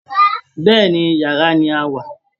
Bẹ́ẹ̀ ni, yàrá ni a wà